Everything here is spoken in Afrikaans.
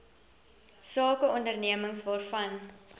sake ondernemings waarvan